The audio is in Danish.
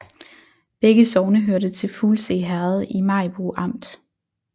Begge sogne hørte til Fuglse Herred i Maribo Amt